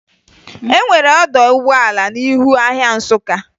E nwere ọdọ ụgbọala n'ihu ahịa Nsụka